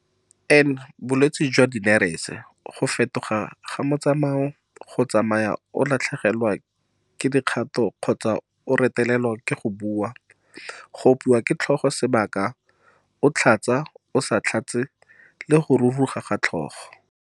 N - Bolwetse jwa dinerese, go fetoga ga motsamao, go tsamaya o latlhegelwa ke dikgato kgotsa o retelelwa ke go bua, go opiwa ke tlhogo sebaka o tlhatsa-o sa tlhatse le go ruruga ga tlhogo.